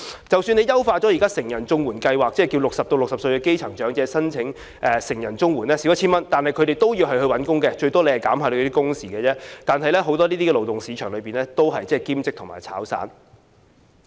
即使優化成人綜援計劃，讓60歲至64歲的基層長者申請成人綜援，金額減少 1,000 元，但他們仍然要找工作，最多也只是減少一些工作時數，但在勞動市場中，這些工作大部分都是兼職或"炒散"。